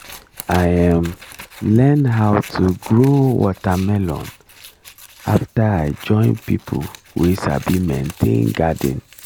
i um learn how to grow watermelon after i join people wey sabi maintain garden